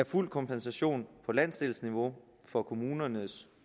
fuld kompensation på landsdelsniveau for kommunernes